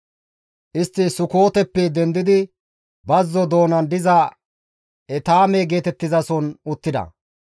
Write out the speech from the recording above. Istti Sukooteppe dendidi bazzo doonan diza Etaame geetettizason uttida.